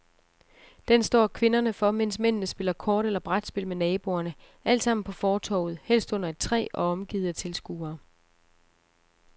Den står kvinderne for, mens mændene spiller kort eller brætspil med naboerne, altsammen på fortovet, helst under et træ og omgivet af tilskuere.